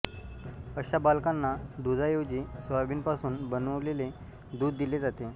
अशा बालकाना दुधाऐवजी सोयाबीनपासून बनवलेले दूध दिले जाते